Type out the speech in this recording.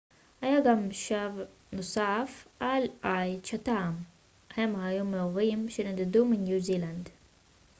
היה גם שבט נוסף על איי צ'טהאם הם היו מאורים שנדדו מניו זילנד